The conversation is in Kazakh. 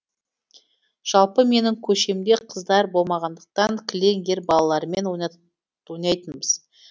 жалпы менің көшемде қыздар болмағандықтан кілең ер балалармен ойнайтынбыз